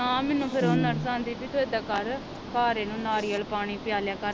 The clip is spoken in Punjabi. ਨਾ ਮੈਨੂੰ ਫਿਰ ਉਹ ਨਰਸ ਆਂਦੀ ਪੀ ਤੂੰ ਏਦਾਂ ਕਰ ਘਰ ਇਹ ਨੂੰ ਨਾਰੀਅਲ ਪਾਣੀ ਪਿਆਲਿਆਂ ਕਰ।